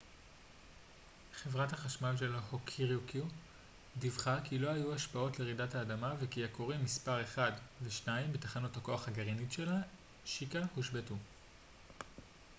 חברת החשמל של הוקוריקו דיווחה כי לא היו השפעות לרעידת האדמה וכי הכורים מספר 1 ו-2 בתחנת הכוח הגרעינית שלה שיקה הושבתו